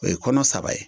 O ye kɔnɔ saba ye